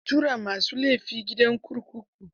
Ana tura ma su laifi gidan kurkuku.